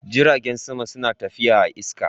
Jiragen sama suna tafiya a'iska.